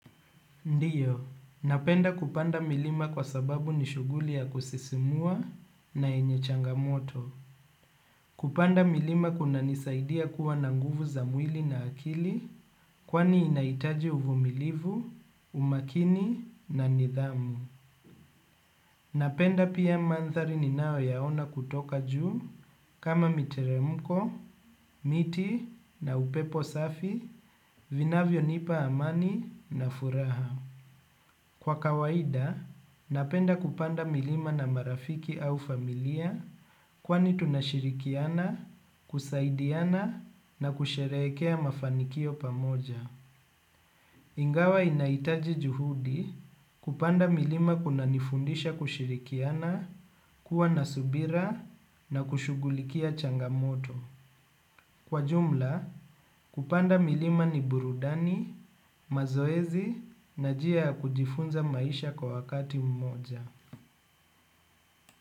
Ndio, napenda kupanda milima kwa sababu ni shughuli ya kusisimua na yenye changamoto. Kupanda milima kunanisaidia kuwa na nguvu za mwili na akili kwani inahitaji uvumilivu, umakini na nidhamu. Napenda pia mandhari ninayoyaona kutoka juu kama miteremko, miti na upepo safi, vinavyonipa amani na furaha. Kwa kawaida, napenda kupanda milima na marafiki au familia kwani tunashirikiana, kusaidiana na kusherehekea mafanikio pamoja. Ingawa inahitaji juhudi, kupanda milima kunanifundisha kushirikiana, kuwa na subira na kushuhulikia changamoto. Kwa jumla, kupanda milima ni burudani, mazoezi na njia ya kujifunza maisha kwa wakati mmoja.